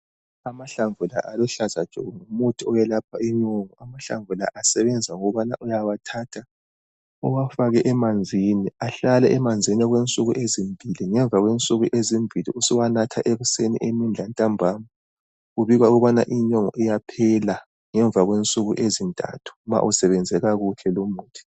Amahlamvu la aluhlaza tshoko ngumuthi owelapha inyongo. Amahlamvu la asebenza ngokubana uyawathatha, uwafake emanzini. Ahlale emanzini okwensuku ezimbili. Ngemva kwensuku ezimbili usuwanatha ekuseni, emini lantambama. Kubikwa ukubana inyongo iyaphela, ngemva kwensuku ezintathu ma usebenzekakuhle lomuthi.